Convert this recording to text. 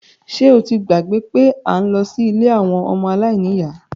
Ṣé o ti gbàgbé pé à ń lọ sí ilé àwọn ọmọ aláìníyá?